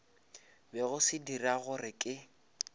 bego se dira gore ke